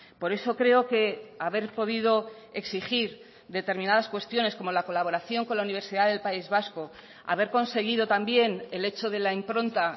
por eso creo que haber podido exigir determinadas cuestiones como la colaboración con la universidad del país vasco haber conseguido también el hecho de la impronta